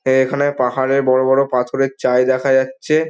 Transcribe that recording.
এ এখানে পাহাড়ের বড় বড় পাথরের চাই দেখা যাচ্ছে।